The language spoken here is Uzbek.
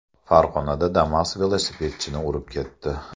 Farg‘onada Damas velosipedchini urib ketdi.